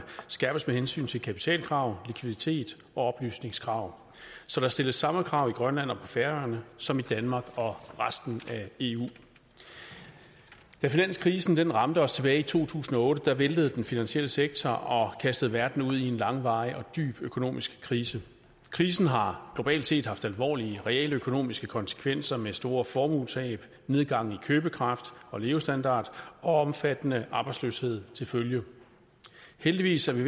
skærpes med hensyn til kapitalkrav likviditet og oplysningskrav så der stilles de samme krav i grønland og på færøerne som i danmark og resten af eu da finanskrisen ramte os tilbage i to tusind og otte væltede den finansielle sektor og kastede verden ud i en langvarig og dyb økonomisk krise krisen har globalt set haft alvorlige realøkonomiske konsekvenser med store formuetab nedgang i købekraft og levestandard og omfattende arbejdsløshed til følge heldigvis er vi